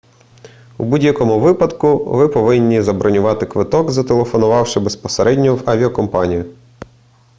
у будь-якому випадку ви повинні забронювати квиток зателефонувавши безпосередньо в авіакомпанію